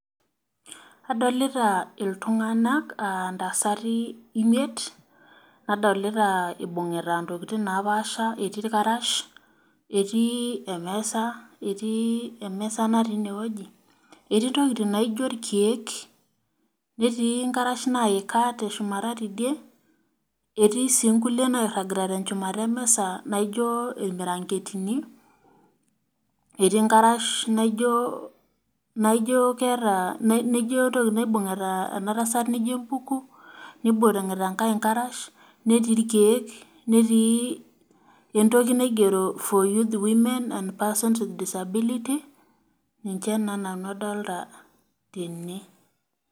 Adolita iltunganak intasati imiet , nadolita ibungita ntokitin napasha etii irkarash etii emesa natii inewueji , etii ntokitin naijo irkiek , netii nkarash naika teshumata tidie, etii sii nkulie nairagita tenchumata emisa naijo irmiranketini nibungita enkae nkarash netii irkeik netii entoki naigero person with disability ninche naa nanu adolita tene.